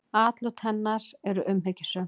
Atlot hennar eru umhyggjusöm.